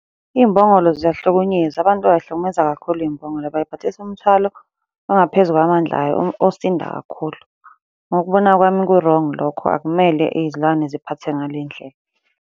Iy'mbongolo ziyahlukunyezwa abantu bay'hlukumeza kakhulu iy'mbongolo. Bay'phathisa umthwalo ongaphezu kwamandla ayo osinda kakhulu. Ngokubona kwami ku-wrong lokho akumele izilwane ziphathe ngale ndlela.